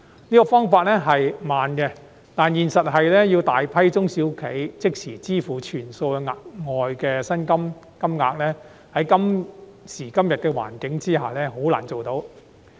這個方法較慢，但現實是要大量中小企即時支付全數額外的薪金金額，在今時今日的環境下很難做到。